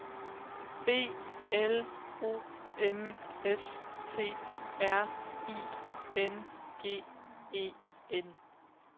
B L O M S T R I N G E N